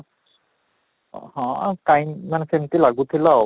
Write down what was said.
ହଁ, କାଇଁ ମାନେ ସେମିତି ଲଜଥିଲା ଆଉ